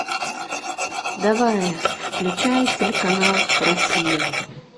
давай включай телеканал россия